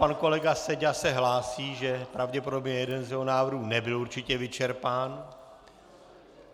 Pan kolega Seďa se hlásí, že pravděpodobně jeden z jeho návrhů nebyl určitě vyčerpán.